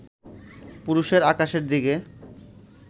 পুরুষের আকাশের দিকে